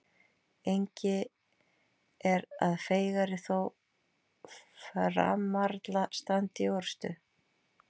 Engi er að feigari þó framarla standi í orrustu.